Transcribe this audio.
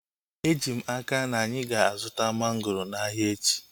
Eji m n'aka, anyị ga-azuta mangoro n'ahia echi